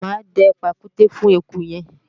mà á dẹ pàkúté fún eku yẹn